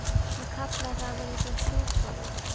Hann kallaði það að vera eins og hjúpaður.